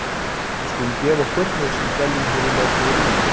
Við skulum gefa okkur- við sem dveljum hér í lokuðu rými